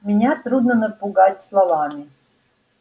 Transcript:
меня трудно напугать словами